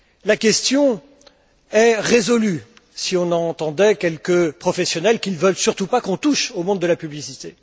La question est résolue, si on écoutait quelques professionnels qui ne veulent surtout pas qu'on touche au monde de la publicité.